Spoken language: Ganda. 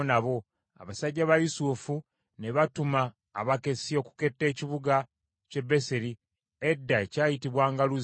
Abasajja ba Yusufu ne batuma abakessi okuketta ekibuga ky’e Beseri edda ekyayitibwanga Luzi.